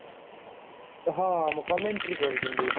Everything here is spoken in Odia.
ହଁ ଆମ commentary କରୁଛନ୍ତି।